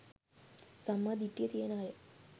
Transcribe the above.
සම්මා දිට්ඨිය තියෙන අය